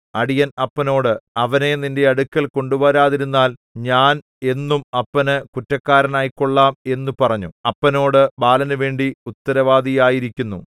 അടിയൻ അപ്പനോട് അവനെ നിന്റെ അടുക്കൽ കൊണ്ടുവരാതിരുന്നാൽ ഞാൻ എന്നും അപ്പനു കുറ്റക്കാരനായിക്കൊള്ളാം എന്നു പറഞ്ഞു അപ്പനോട് ബാലനുവേണ്ടി ഉത്തരവാദിയായിരിക്കുന്നു